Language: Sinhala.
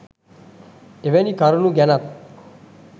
එවැනි කරුණු ගැනත්